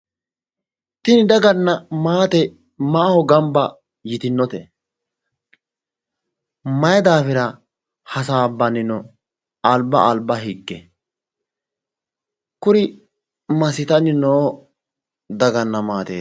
Tinni daganna maate maaho gamba yitinote? Mayi daafira hasaabbanni no alba alba hige? Kuri masitanni noo daganna maateeti?